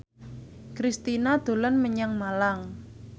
Kristina dolan menyang Malang